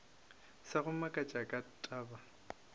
sa go makatša ka taba